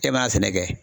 E b'a fɛnɛ kɛ